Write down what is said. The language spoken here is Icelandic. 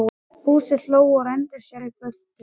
Fúsi hló og renndi sér í burtu.